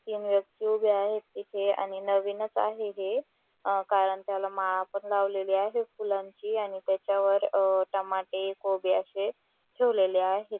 तीन व्यक्ति उभ्या आहेत इथे आणि नवीनच आहे हे कारण त्याला माळा पण लावलेली आहे फुलांची आणि त्याच्यावर अ टमाटे कोबी असे ठेवलेले आहे.